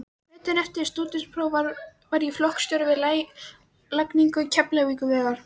Veturinn eftir stúdentspróf var ég flokksstjóri við lagningu Keflavíkurvegar.